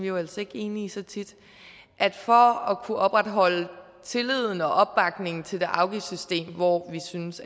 jo altså ikke enige så tit at for at kunne opretholde tilliden og opbakningen til et afgiftssystem hvor vi synes